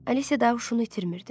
Alisya da huşunu itirmirdi.